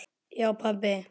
Já pabbi.